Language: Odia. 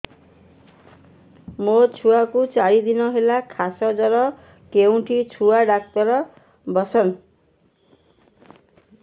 ମୋ ଛୁଆ କୁ ଚାରି ଦିନ ହେଲା ଖାସ ଜର କେଉଁଠି ଛୁଆ ଡାକ୍ତର ଵସ୍ଛନ୍